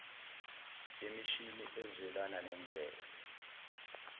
wemishini ezwelana nemvelo